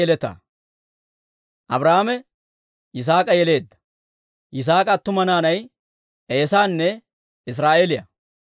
Abrahaame Yisaak'a yeleedda. Yisaak'a attuma naanay Eesaanne Israa'eeliyaa.